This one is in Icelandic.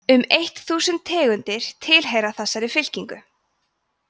um eitt þúsund tegundir tilheyra þessari fylkingu